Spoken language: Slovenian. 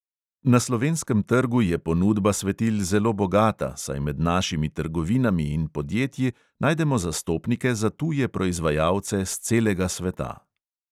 Na slovenskem trgu je ponudba svetil zelo bogata, saj med našimi trgovinami in podjetji najdemo zastopnike za tuje proizvajalce s celega sveta.